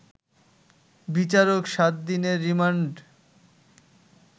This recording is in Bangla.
বিচারক ৭ দিনের রিমান্ড